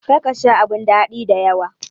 Kar ka Sha abun dadi da yawa.